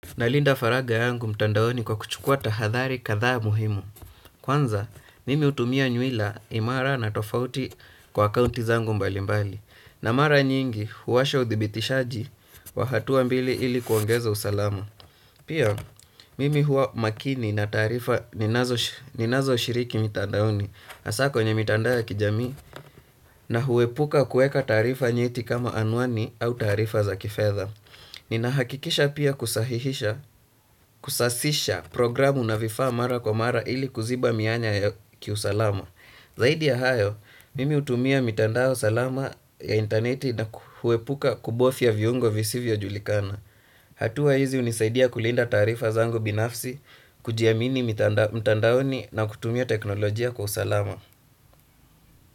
Nalinda faraga yangu mtandaoni kwa kuchukua tahadhari kadhaa muhimu. Kwanza, mimi hutumia nyuila imara na tofauti kwa kaunti zangu mbali mbali. Na mara nyingi huwasha udhibitishaji wa hatua mbili ili kuongeza usalamu. Pia, mimi huwa makini na tarifa ninazo shiriki mtandaoni. Has kwenye mitandao ya kijamii na huwepuka kuweka taarifa nyeti kama anwani au taarifa za kifedha. Ninahakikisha pia kusahihisha, kusasisha programu na vifaa mara kwa mara ili kuziba mianya ya kiusalama. Zaidi ya hayo, mimi hutumia mitandao salama ya intaneti na kuepuka kubofya viungo visivyo julikana. Hatua hizi hunisaidia kulinda taarifa zangu binafsi, kujiamini mitandaoni na kutumia teknolojia kwa usalama.